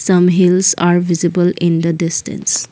Some hills are visible in the distance.